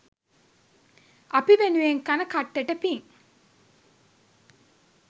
අපි වෙනුවෙන් කන කට්ටට පිං.